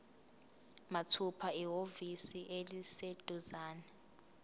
mathupha ehhovisi eliseduzane